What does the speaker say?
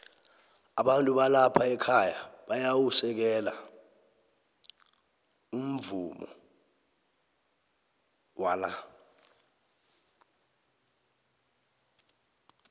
abantu balapha ekhaya bayau u sekelo umvumowala